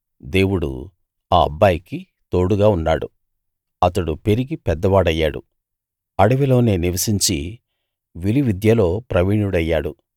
దేవుడు ఆ అబ్బాయికి తోడుగా ఉన్నాడు అతడు పెరిగి పెద్దవాడయ్యాడు ఆ అడవిలోనే నివసించి విలువిద్యలో ప్రవీణుడయ్యాడు